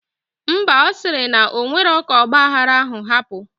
Mba, osiri na onwero ka ogba aghara ahu hapu